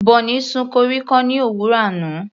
Bonny sun koríko ní òwúrọ̀ yìí.